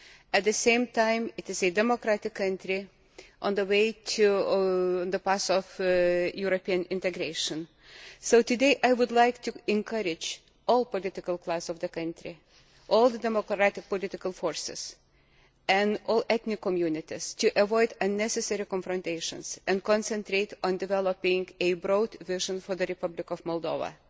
At the same time, it is a democratic country on the way to European integration, so today I would like to encourage all political classes in that country, all the democratic political forces and all the ethnic communities to avoid unnecessary confrontations and concentrate on developing a broad vision for the Republic of Moldova